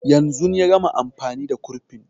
Yanzun ya gama amfani da kurfin